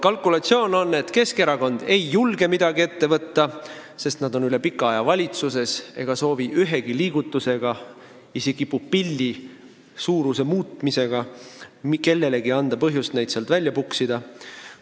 Kalkulatsioon on, et Keskerakond ei julge midagi ette võtta, sest nad on üle pika aja valitsuses ega soovi ühegi liigutusega, isegi pupilli suuruse muutmisega anda kellelegi põhjust neid sealt välja puksida.